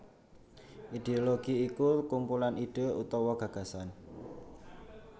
Idéologi iku kumpulan ide utawa gagasan